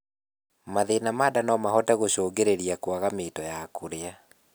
mathĩna ma ndaa nomahote gũcũngĩrĩrĩa kwaga mito ya kũrĩa